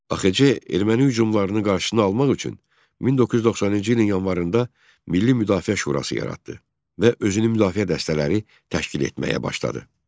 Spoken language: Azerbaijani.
AXC erməni hücumlarının qarşısını almaq üçün 1990-cı ilin yanvarında Milli Müdafiə Şurası yaratdı və özünü müdafiə dəstələri təşkil etməyə başladı.